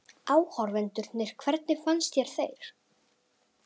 Áhorfendurnir hvernig fannst þér þeir?